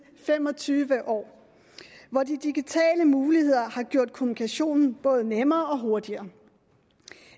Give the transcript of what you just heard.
fem og tyve år hvor de digitale muligheder har gjort kommunikationen både nemmere og hurtigere